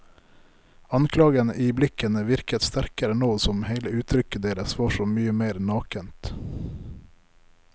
Anklagen i blikkene virket sterkere nå som hele uttrykket deres var så mye mer nakent.